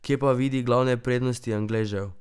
Kje pa vidi glavne prednosti Angležev?